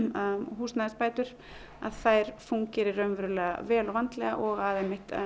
húsnæðisbætur að þær fúnkeri vel og vandlega og að